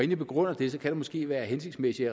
jeg begrunder det kan det måske være hensigtsmæssigt